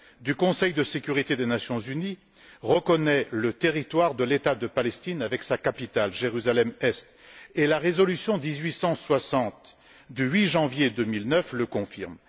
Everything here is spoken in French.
du Conseil de sécurité des Nations unies, qui reconnaît le territoire de l'État palestinien avec sa capitale, Jérusalem Est, et la résolution 1860 du 8 janvier 2009, qui le confirme.